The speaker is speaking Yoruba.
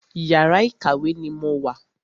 Yàrá ìkàwé ni mo wà.